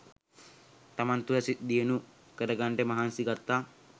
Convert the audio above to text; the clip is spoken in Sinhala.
තමන් තුළ දියුණු කරගන්නට මහන්සි ගත්තා